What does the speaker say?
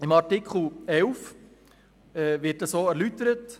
In Artikel 11 wird dies erläutert.